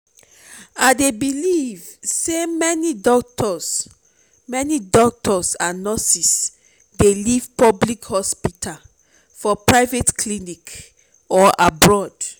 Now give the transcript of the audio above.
i dey believe say many doctors many doctors and nurses dey leave public hospitals for private clinics or abroad.